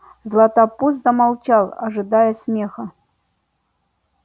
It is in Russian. златопуст замолчал ожидая смеха